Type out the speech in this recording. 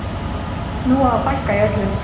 Nú á að fækka í öllu.